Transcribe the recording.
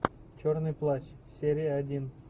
черный плащ серия один